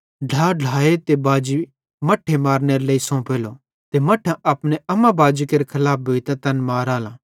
ढ्ला ढ्लाए ते बाजी मट्ठे मारनेरे लेइ सोंफेले ते मट्ठां अपने अम्मा बाजी केरे खलाफ भोइतां तैन माराले